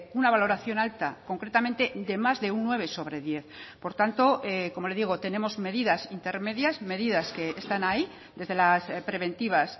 una valoración alta concretamente de más de un nueve sobre diez por tanto como le digo tenemos medidas intermedias medidas que están ahí desde las preventivas